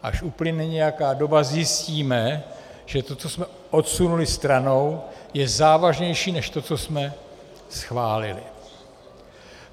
Až uplyne nějaká doba, zjistíme, že to, co jsme odsunuli stranou, je závažnější než to, co jsme schválili.